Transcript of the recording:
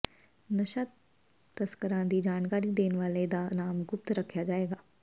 ਨਸ਼ਾ ਤਸਕਰਾਂ ਦੀ ਜਾਣਕਾਰੀ ਦੇਣ ਵਾਲੇ ਦਾ ਨਾਮ ਗੁਪਤ ਰੱਖਿਆ ਜਾਏਗਾ